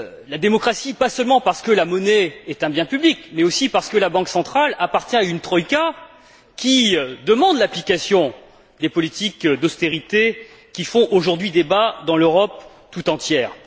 La démocratie, pas seulement parce que la monnaie est un bien public mais aussi parce que la Banque centrale appartient à une troïka qui demande l'application des politiques d'austérité qui font, aujourd'hui, débat dans l'Europe tout entière.